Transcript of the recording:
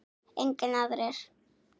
Engir aðrir?